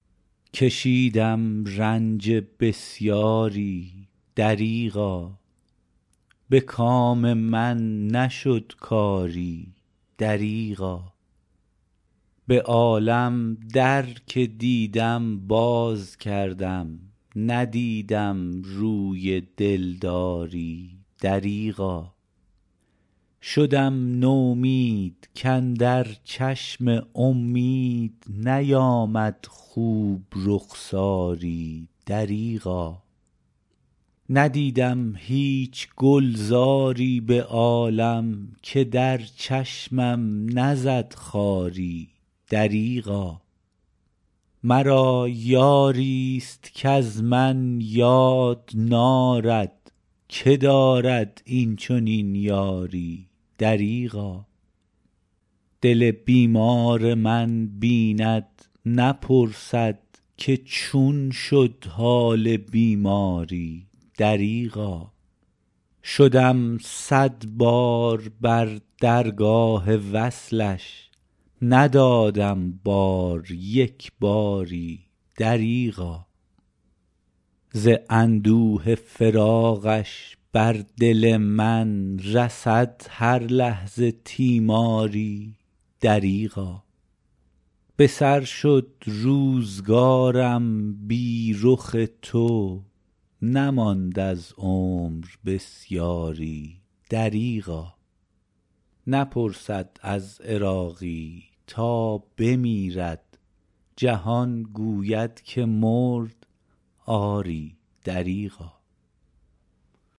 کشیدم رنج بسیاری دریغا به کام من نشد کاری دریغا به عالم در که دیدم باز کردم ندیدم روی دلداری دریغا شدم نومید کاندر چشم امید نیامد خوب رخساری دریغا ندیدم هیچ گلزاری به عالم که در چشمم نزد خاری دریغا مرا یاری است کز من یاد نارد که دارد این چنین یاری دریغا دل بیمار من بیند نپرسد که چون شد حال بیماری دریغا شدم صدبار بر درگاه وصلش ندادم بار یک باری دریغا ز اندوه فراقش بر دل من رسد هر لحظه تیماری دریغا به سر شد روزگارم بی رخ تو نماند از عمر بسیاری دریغا نپرسد از عراقی تا بمیرد جهان گوید که مرد آری دریغا